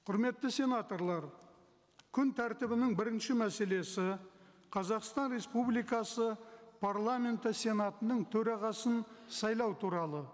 құрметті сенаторлар күн тәртібінің бірінші мәселесі қазақстан республикасы парламенті сенатының төрағасын сайлау туралы